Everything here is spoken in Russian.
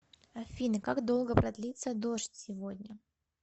афина как долго продлится дождь сегодня